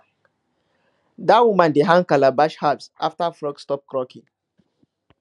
dat woman dey hang calabash halves after frogs stop croaking